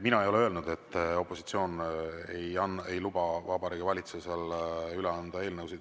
Mina ei ole öelnud, et opositsioon ei luba Vabariigi Valitsusel üle anda eelnõusid.